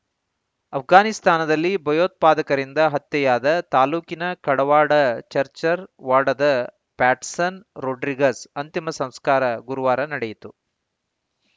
ಆಪ್ಘಾನಿಸ್ತಾನದಲ್ಲಿ ಭಯೋತ್ಪಾದಕರಿಂದ ಹತ್ಯೆಯಾದ ತಾಲೂಕಿನ ಕಡವಾಡ ಚರ್ಚರ್ ವಾಡದ ಪ್ಯಾಟ್ಸನ್‌ ರೋಡ್ರಿಗಸ್‌ ಅಂತಿಮ ಸಂಸ್ಕಾರ ಗುರುವಾರ ನಡೆಯಿತು